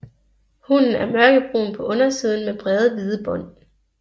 Hunnen er mørkebrun på undersiden med brede hvide bånd